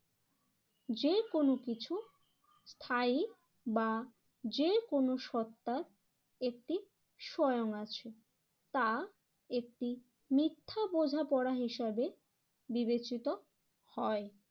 যেকোনো কিছু স্থায়ী বা যেকোনো সত্ত্বা একটি স্বয়ং আছে, তা একটি মিথ্যা বোঝাপড়া হিসাবে বিবেচিত হয়